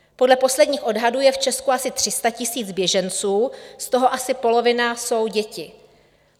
Podle posledních odhadů je v Česku asi 300 000 běženců, z toho asi polovina jsou děti.